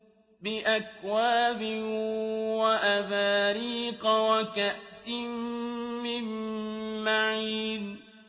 بِأَكْوَابٍ وَأَبَارِيقَ وَكَأْسٍ مِّن مَّعِينٍ